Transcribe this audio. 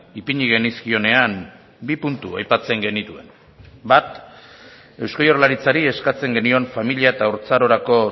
ipini genizkionean bi puntu aipatzen genituen bat eusko jaurlaritzari eskatzen genion familia eta haurtzarorako